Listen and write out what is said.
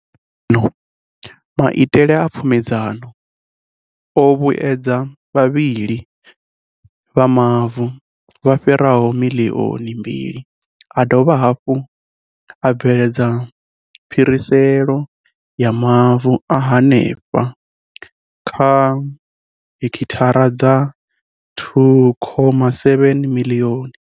U swika zwino, maitele a pfumedzano o vhuedza vha vhili vha mavu vha fhiraho miḽioni mbili a dovha hafhu a bveledza phiriselo ya mavu a henefha kha hekithara dza 2.7 miḽioni.